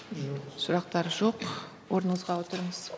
сұрақтар жоқ орныңызға отырыңыз